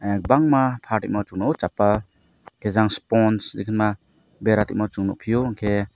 kwbanga ma falimao chapa sponge sogma bera dima chung nugfio.